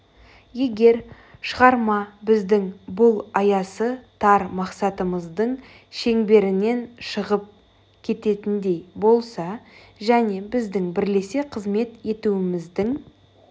егер шығарма біздің бұл аясы тар мақсатымыздың шеңберінен шығып кететіндей болса және біздің бірлесе қызмет етуіміздің